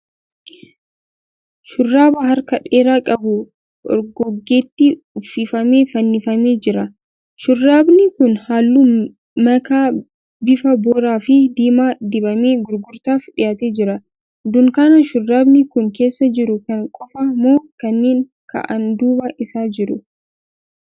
Shurraaba harka dheeraa qabu orgoggeetti uffifamee fannifamee jira. Shurraabni kun halluu makaa bifa booraa fi diimaan dibamee gurgurtaaf dhiyaatee jira. Dunkaana shurraabni kun keessa jiru kana qofa moo kanneen ka'aan duuba isaa jiru?